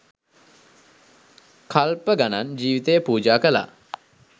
කල්ප ගණන් ජීවිතය පූජාකළා.